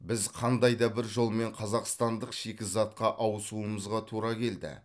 біз қандай да бір жолмен қазақстандық шикізатқа ауысуымызға тура келді